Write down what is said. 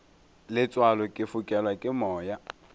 letswalo ke fokelwa ke moya